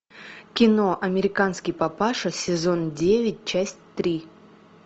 кино американский папаша сезон девять часть три